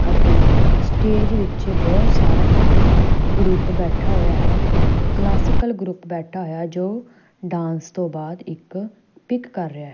ਅਤੇ ਸਟੇਜ ਵਿੱਚ ਬਹੁਤ ਸਾਰਾ ਇੱਕ ਗਰੁੱਪ ਬੈਠਾ ਹੋਇਆ ਹੈ। ਕਲਾਸਿਕਲ ਗਰੁੱਪ ਬੈਠਾ ਹੋਇਆ ਜੋ ਡਾਂਸ ਤੋਂ ਬਾਅਦ ਇੱਕ ਪਿੱਕ ਕਰ ਰਿਹਾ।